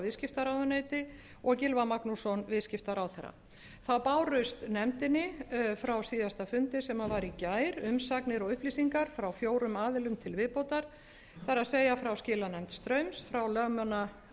viðskiptaráðuneyti og gylfa magnússon viðskiptaráðherra þá bárust nefndinni frá síðasta fundi sem var í gær umsagnir og upplýsingar frá fjórum aðilum til viðbótar það er frá skilanefnd straums frá